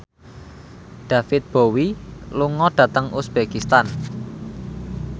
David Bowie lunga dhateng uzbekistan